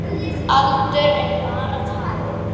Elsku Erna.